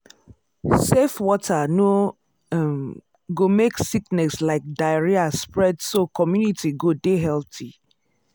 safe water no um go make sickness like diarrhea spread so community go dey healthy.